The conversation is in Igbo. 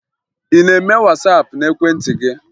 Ị na-eme Wasaapụ n'ekwentị gị?